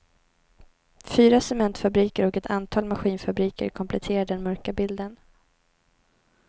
Fyra cementfabriker och ett antal maskinfabriker kompletterar den mörka bilden.